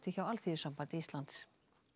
hjá Alþýðusambandi Íslands